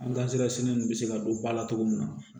nin bɛ se ka don ba la cogo min na